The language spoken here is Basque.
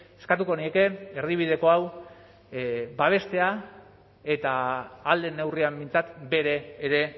eskatuko nieke erdibideko hau babestea eta ahal den neurrian behintzat bere ere